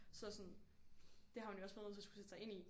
Så sådan det har hun jo også været nødt til at sætte sig ind i